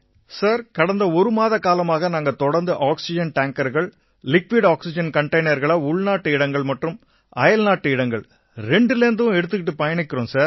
sir கடந்த ஒரு மாத காலமா நாங்க தொடர்ந்து ஆக்சிஜன் டேங்கர்கள் திரவ ஆக்சிஜன் கண்டெய்னர்களை உள்நாட்டு இடங்கள் மற்றும் அயல்நாட்டு இடங்கள் இரண்டு இடங்கள்லேர்ந்தும் எடுத்துகிட்டுப் பயணிக்கறோம்